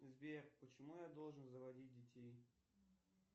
сбер почему я должен заводить детей